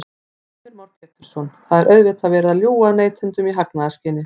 Heimir Már Pétursson: Þá er auðvitað verið að ljúga að neytendum í hagnaðarskyni?